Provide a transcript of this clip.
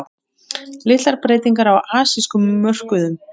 Niðurstöður er að vænta fljótlega